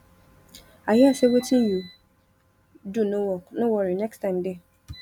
i hear say wetin you do no work no worry next time dey